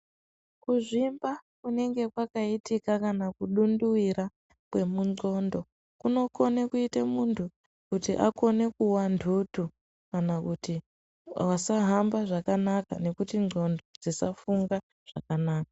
Kuzvimba kunenge kwakaiitika kana kudunduvira kwemunqondo kunokone kuite muntu kuti akone kuwantundu kana kuti asahamba zvakanaka nekuti nqondo dzisafunga zvakanaka.